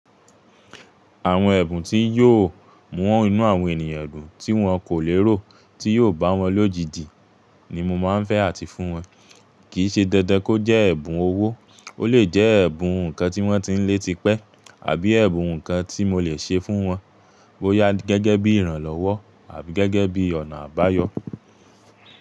Àwọn ẹ̀bùn tí yóò mú inú àwọn ènìyàn dùn tí wón kò lérò, tí yóò bá wọn lójijì ni mo máa ń fẹ́ àti fún wọn. Kì í ṣe dandan kó jẹ́ ẹ̀bùn owó, ó lè jẹ́ ẹ̀bùn ǹnkan tí wón ti ń lé ti pẹ́ àbí ẹ̀bùn ǹnkan tí mo lè ṣe fún wọn bóyá gẹ́gẹ́ bí ìrànlọ́wọ́ àbí gẹ́gẹ́ bí ọ̀nà àbáyọ.